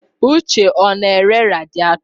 Uche ọ na-ere radịètọ tọ?